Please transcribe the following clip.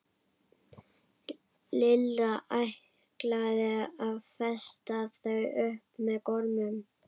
Lilla ætlaði að festa þau upp með gormum.